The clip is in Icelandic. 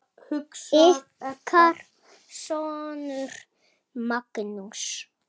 Ykkar sonur, Magnús.